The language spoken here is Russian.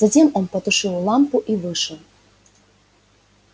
затем он потушил лампу и вышел